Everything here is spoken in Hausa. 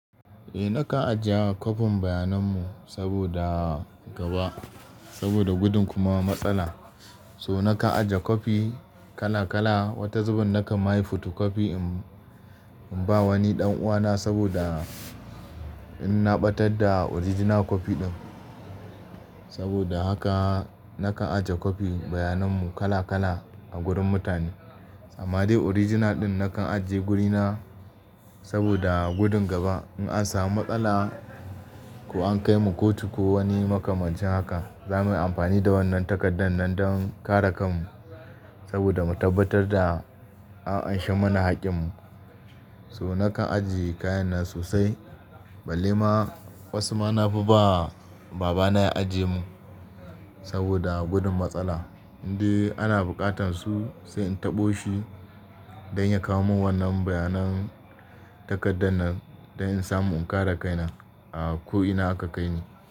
Eh, na ka ajiye wafin bayanan mu saboda gaba, saboda gudun kuma matsala. So na ka ajiye kwafi kala kala, wata zubin na ka mayi foto kwafi in ba wani ɗan uwa na saboda in na ɓatar da original kwafi ɗin. Saboda haka na ka ajiye kwafi bayanan mu kala kala a gurin mutane. Amma dai original ɗin na kan ajiye guri na saboda gudun gaba in an samu matsala ko an kai mu kotu ko wani maka-macin haka, za mu yi amfani da wannan takardar nan don kare kan mu saboda mu tabbatar da an anshi mana haƙƙin mu. So nakan ajiye kayan nan sosai balle ma wasu ma na fi ba. Baba na ya ajiye mun saboda gudun matsala. Indai ana buƙatar su, sai in taɓo shi dan ya kawo mun wannan bayanan takardar nan dan in samu in kare kaina a ko ina aka kai ni.